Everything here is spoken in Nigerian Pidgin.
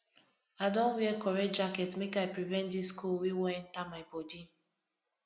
i don wear correct jacket make i prevent dis cold wey wan enta my bodi